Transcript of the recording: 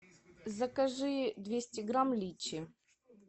закажи двести грамм личи